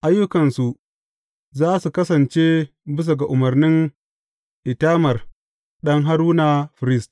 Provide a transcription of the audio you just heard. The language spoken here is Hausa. Ayyukansu za su kasance bisa ga umarnin Itamar ɗan Haruna firist.